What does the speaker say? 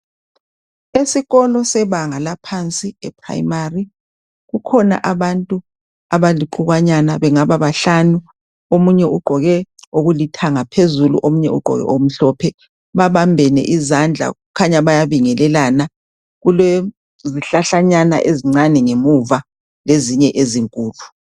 Esikolo sebanga laphansi eprimary kukhona abantu abalixukanyana bangaba bahlanu omunye ugqoke lokulithanga phezulu omunye ugqoke okumhlophe. Babambene izandla kukhanya bayabongelelana kulezinhlahlanyana ezincane ngemuva lezinye ezinkulu.